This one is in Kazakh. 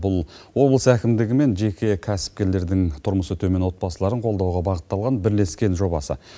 бұл облыс әкімдігі мен жеке кәсіпкерлердің тұрмысы төмен отбасыларын қолдауға бағытталған бірлескен жобасы